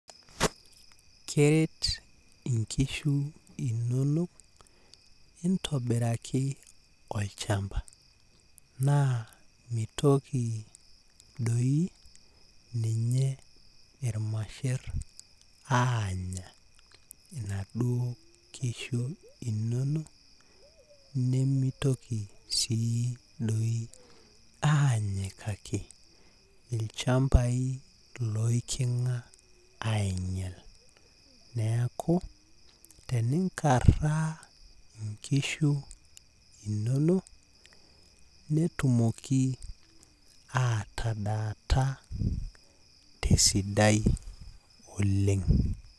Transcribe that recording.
Keret inkishu inonok intobiraki olchamba naa mitoki doi ninye irmasher anya inaduoo kishu inonok nemitoki sii doi anyikaki ilchambai leikinga ainyial niaku teninkaraa inkishu inonok netumoki atadaata tesidai oleng.